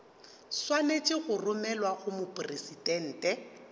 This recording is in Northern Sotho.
swanetše go romelwa go mopresidente